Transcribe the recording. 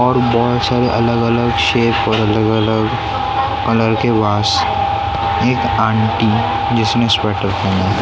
और बहुत सारी अलग -अलग शेप पर अलग -अलग कलर के वास एक आंटी जिसने स्वेटर पहना है ।